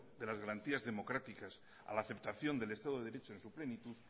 de las garantías democráticas a la aceptación del estado de derecho en su plenitud